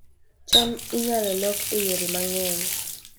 cham inyalo lok e yore mang'eny